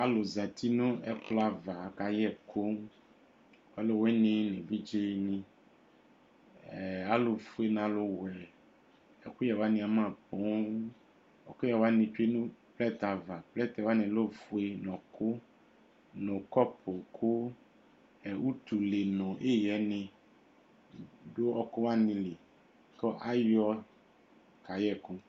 Alu zãti nu ɛkplɔ ãyava ku akayɛ ɛkù Ãlu wíní nu evidze ni, ãlu fué nu alu wɛ Ɛkuyɛ wani ama póò Ɛkuyɛ wani tsue nu plɛtɛ ayu ãvã Plɛtɛ wanì lɛ ɔfué, nu ɔɔkù, nu kɔpu Ku utule nu iɣɛni du ɔɔku wanì li Ku ayɔ kayɛ ɛkʋ